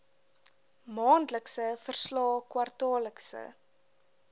maandelikse verslae kwartaallikse